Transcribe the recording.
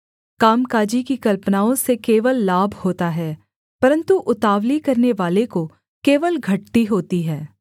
कामकाजी की कल्पनाओं से केवल लाभ होता है परन्तु उतावली करनेवाले को केवल घटती होती है